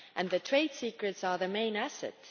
Their trade secrets are their main asset.